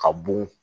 Ka bun